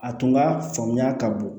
A tun ka faamuya ka bon